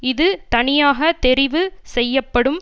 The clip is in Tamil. இது தனியாக தெரிவு செய்யப்படும்